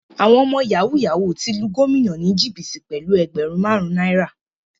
Àwọn ọmọ yahoo yahoo ti lu gómìnà ni jìbìtì pẹlú ẹgbẹrun marun náírà.